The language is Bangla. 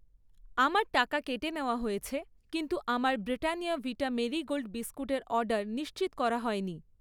আমার টাকা কেটে নেওয়া হয়েছে, কিন্তু আমার ব্রিটানিয়া ভিটা মেরি গোল্ড বিস্কুটের অর্ডার নিশ্চিত করা হয়নি